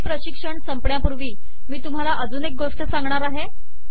हे प्रशिक्षण संपण्यापूर्वी मी तुम्हाला अजून एक गोष्ट सांगणार आहे